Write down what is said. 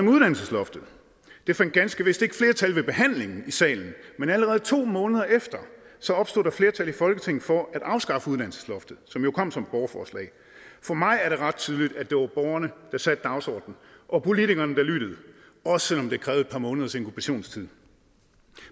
af uddannelsesloftet det fandt ganske vist ikke flertal ved behandlingen i salen men allerede to måneder efter opstod der flertal i folketinget for at afskaffe uddannelsesloftet som jo kom som et borgerforslag for mig er det ret tydeligt at det var borgerne der satte dagsordenen og politikerne der lyttede også selv om det krævede et par måneders inkubationstid